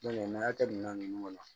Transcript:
Ɲani a ka kɛ minɛn ninnu kɔnɔ